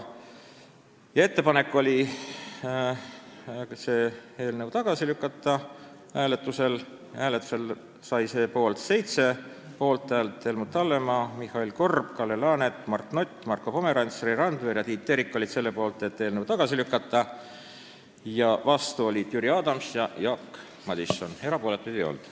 Ettepanek oli eelnõu tagasi lükata, mis sai 7 poolthäält: Helmut Hallemaa, Mihhail Korb, Kalle Laanet, Mart Nutt, Marko Pomerants, Rein Randver ja Tiit Terik olid selle poolt, et eelnõu tagasi lükata, vastu olid Jüri Adams ja Jaak Madison, erapooletuid ei olnud.